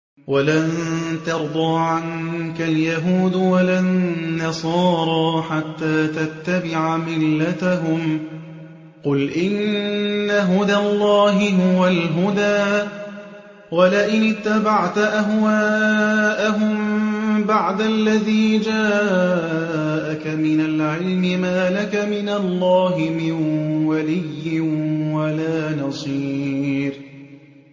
وَلَن تَرْضَىٰ عَنكَ الْيَهُودُ وَلَا النَّصَارَىٰ حَتَّىٰ تَتَّبِعَ مِلَّتَهُمْ ۗ قُلْ إِنَّ هُدَى اللَّهِ هُوَ الْهُدَىٰ ۗ وَلَئِنِ اتَّبَعْتَ أَهْوَاءَهُم بَعْدَ الَّذِي جَاءَكَ مِنَ الْعِلْمِ ۙ مَا لَكَ مِنَ اللَّهِ مِن وَلِيٍّ وَلَا نَصِيرٍ